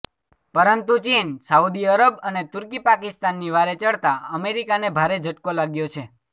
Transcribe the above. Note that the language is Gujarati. પરંતુ ચીન સાઉદી અરબ અને તુર્કી પાકિસ્તાનની વારે ચડતા અમેરિકાને ભારે ઝટકો લાગ્યો છે